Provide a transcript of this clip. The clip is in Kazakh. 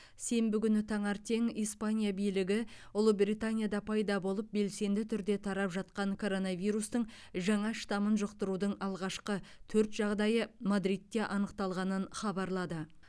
сенбі күні таңертең испания билігі ұлыбританияда пайда болып белсенді түрде тарап жатқан коронавирустың жаңа штамын жұқтырудың алғашқы төрт жағдайы мадридте анықталғанын хабарлады